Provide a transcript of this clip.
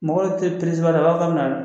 Mɔgɔw te i b'a dɔ a b'a fɔ k'a bɛ na